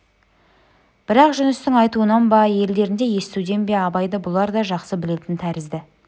бірақ жүністің айтуынан ба елдерінде естуден бе абайды бұлар да жақсы білетін тәрізді